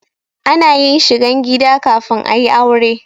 Ana yin shigan gida kafin a yi aure.